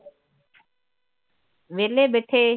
ਵਿਹਲੇ ਬੈਠੇ